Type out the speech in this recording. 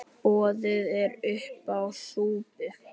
Boðið er uppá súpu.